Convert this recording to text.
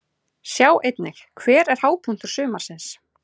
Sjá einnig: Hver er hápunktur sumarsins?